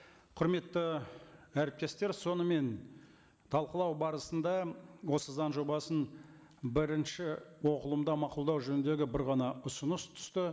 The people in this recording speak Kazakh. құрметті әріптестер сонымен талқылау барысында осы заң жобасын бірінші оқылымда мақұлдау жөніндегі бір ғана ұсыныс түсті